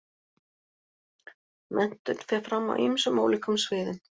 Menntun fer fram á ýmsum ólíkum sviðum.